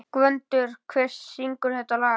Gvöndur, hver syngur þetta lag?